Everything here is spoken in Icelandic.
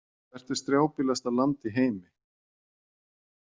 Hvert er strjálbýlasta land í heimi?